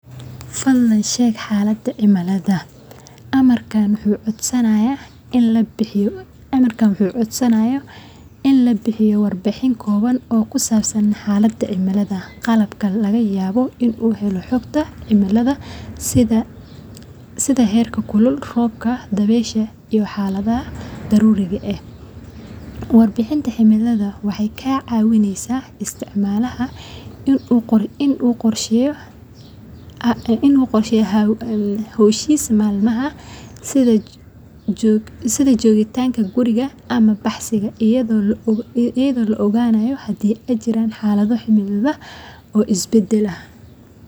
fadhlanii sheg xalada cimiladha